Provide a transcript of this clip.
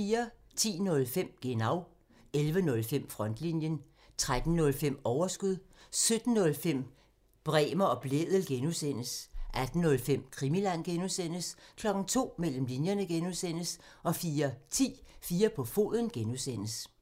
10:05: Genau (tir) 11:05: Frontlinjen (tir) 13:05: Overskud (tir) 17:05: Bremer og Blædel (G) (tir) 18:05: Krimiland (G) (tir) 02:00: Mellem linjerne (G) (tir) 04:10: 4 på foden (G) (tir)